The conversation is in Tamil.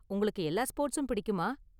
உங்களுக்கு எல்லா ஸ்போர்ட்ஸும் பிடிக்குமா?